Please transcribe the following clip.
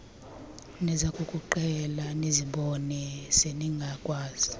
nizakukuqhela nizibone seningakwazi